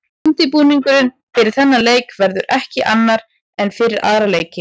Undirbúningurinn fyrir þennan leik verður ekki annar en fyrir aðra leiki.